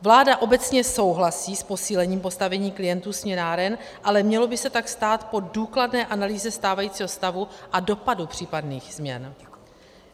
Vláda obecně souhlasí s posílením postavení klientů směnáren, ale mělo by se tak stát po důkladné analýze stávajícího stavu a dopadu případných změn.